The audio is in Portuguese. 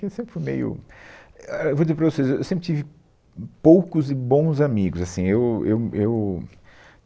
Porque eu sempre fui meio, é, ah, eu vou dizer para vocês, Eu sempre tive poucos e bons amigos. Assim, eu eu eu